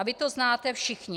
A vy to znáte všichni.